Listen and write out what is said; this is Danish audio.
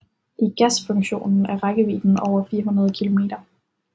I gasfunktionen er rækkevidden over 400 kilometer